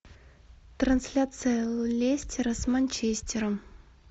трансляция лестера с манчестером